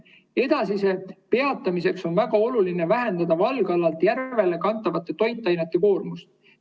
Edasise peatamiseks on väga oluline vähendada valgalalt järve kantavate toitainete koormust.